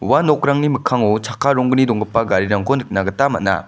ua nokrangni mikkango chakka ronggni donggipa garirangko nikna gita man·a.